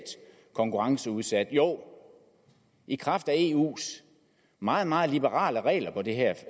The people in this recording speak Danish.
konkurrenceudsat jo i kraft af eus meget meget liberale regler på det her